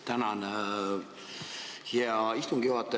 Tänan, hea istungi juhataja!